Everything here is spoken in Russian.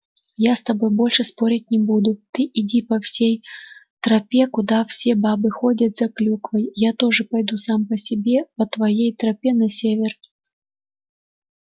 я с тобой больше спорить не буду ты иди по всей тропе куда все бабы ходят за клюквой я тоже пойду сам по себе по твоей тропе на север